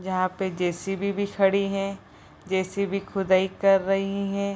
जहाँ पे जे.सी.बी. भी खड़ी हैं। जे.सी.बी. खुदाई कर रही हैं ।